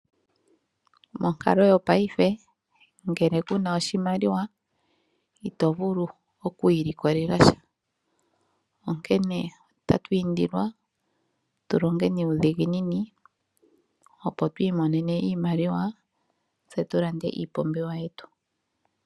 Monkalo yopaife ngele kuna oshimaliwa ito vulu okwiilikolela sha. Onkene otatu indilwa tulonge nuudhiginini opo twiimonene iimaliwa tse tulande iipumbiwa yetu.